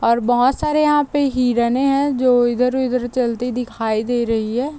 और बहोत सारे यहाँ पर हिरने हैं जो इधर-उधर चलती दिखाई दे रही है।